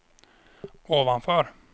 ovanför